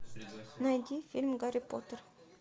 найди фильм гарри поттер